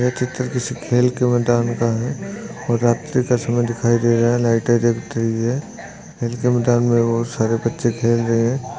यह चित्र किसी खेल के मेदान का है और रात्री का समय दिखाई दे रहा है लाइटे जल रही है खेल के मैदान मे बहुत सारे बच्चे खेल रहे हैं।